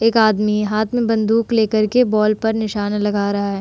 एक आदमी हाथ में बंदूक लेकर के बॉल पर निशाना लग रहा है।